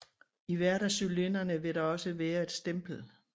I hvert af cylinderne vil der også være et stempel